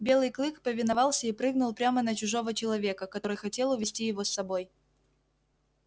белый клык повиновался и прыгнул прямо на чужого человека который хотел увести его с собой